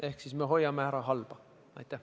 Ehk siis me hoiame halba ära.